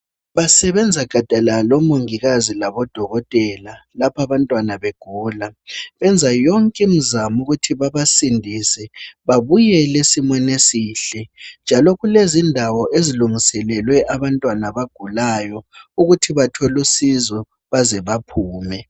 Basebenza gadalala omongikazi labo dokotela lapha abantwana begula. Benza yonke imizamo ukuthi bebasindise babuyele esimeni esihle njalo kulezindawo ezilungiselelwe abantwana abagulayo ukuthi bathole usizo beze bephume.